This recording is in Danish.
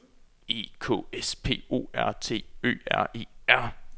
E K S P O R T Ø R E R